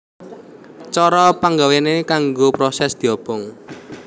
Cara panggawéné nganggo prosès diobong